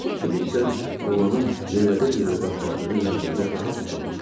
Kibir isə oğlanın yellədə-yellədə apardığı zəmbildə rahat uzanmışdı.